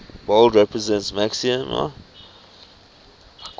bold represents maxima